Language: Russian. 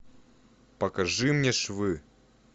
покажи мне швы